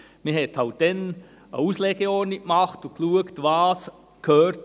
Man hat halt damals eine Auslegeordnung gemacht und geschaut, was wo hin gehört.